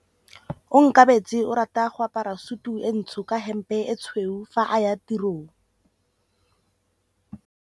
Onkabetse o rata go apara sutu e ntsho ka hempe e tshweu fa a ya tirong.